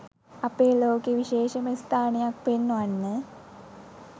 අපේ ලෝකේ විශේෂම ස්ථානයක් පෙන්වන්න.